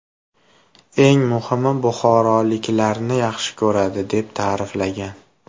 Eng muhimi, buxoroliklarni yaxshi ko‘radi”, deb ta’riflagan.